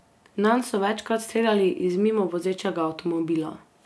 Nanj so večkrat streljali iz mimo vozečega avtomobila.